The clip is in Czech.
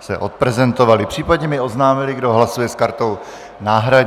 se odprezentovali, případně mi oznámili, kdo hlasuje s kartou náhradní.